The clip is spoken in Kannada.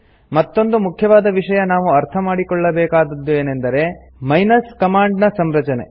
ಮತ್ತೊಂದು ಮುಖ್ಯವಾದ ವಿಷಯ ನಾವು ಅರ್ಥ ಮಾಡಿಕೊಳ್ಳಬೇಕಾದದ್ದು ಏನೆಂದರೆ ಮೈನಸ್ ಕಮಾಂಡ್ ಗಳ ಸಂರಚನೆ